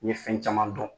N ye fɛn caman dɔn